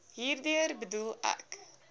hierdeur bedoel ek